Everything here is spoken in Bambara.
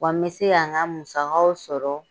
Wa n bɛ se ka n ka musakaw sɔrɔ.